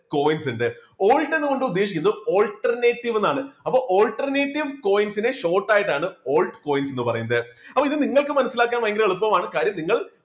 coins ഉണ്ട് alt എന്ന കൊണ്ട് ഉദ്ദേശിക്കുന്നത് alternative എന്നാണ് അപ്പോ alternative coins നെ short ആയിട്ടാണ് altcoins എന്ന് പറയുന്നത്. അപ്പോ ഇത് നിങ്ങൾക്ക് മനസ്സിലാക്കാൻ ഭയങ്കര എളുപ്പമാണ് കാര്യം നിങ്ങൾ